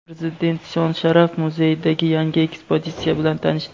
Prezident Shon-sharaf muzeyidagi yangi ekspozitsiya bilan tanishdi.